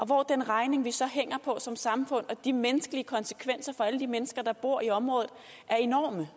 hvor den regning vi så hænger på som samfund og de menneskelige konsekvenser for alle de mennesker der bor i området er enorme